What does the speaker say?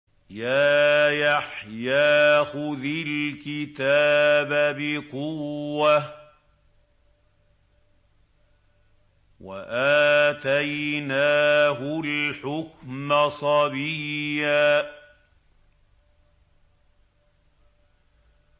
يَا يَحْيَىٰ خُذِ الْكِتَابَ بِقُوَّةٍ ۖ وَآتَيْنَاهُ الْحُكْمَ صَبِيًّا